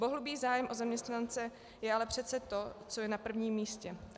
Bohulibý zájem o zaměstnance je ale přece to, co je na prvním místě.